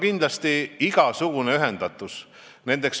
Kindlasti tuleb rääkida igasugustest ühendustest.